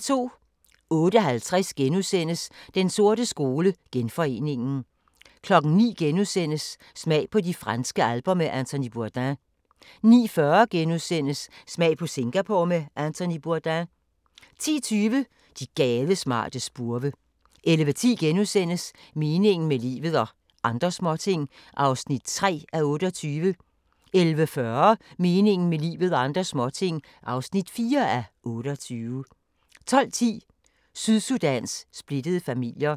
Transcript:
08:50: Den sorte skole: Genforeningen * 09:00: Smag på de franske alper med Anthony Bourdain * 09:40: Smag på Singapore med Anthony Bourdain * 10:20: De gadesmarte spurve 11:10: Meningen med livet – og andre småting (3:28)* 11:40: Meningen med livet – og andre småting (4:28) 12:10: Sydsudans splittede familier